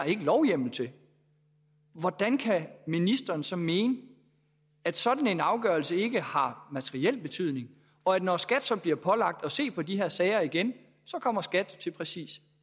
ikke lovhjemmel til hvordan kan ministeren så mene at sådan en afgørelse ikke har materiel betydning og når skat så bliver pålagt at se på de her sager igen kommer skat til præcis